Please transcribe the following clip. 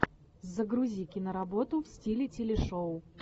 загрузи киноработу в стиле телешоу